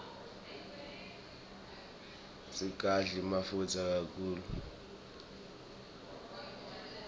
singadli mafutsa kakhulu